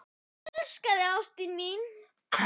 Ég elska þig ástin mín.